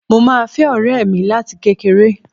Mo máa fẹ́ ọ̀rẹ́ mi láti kékeré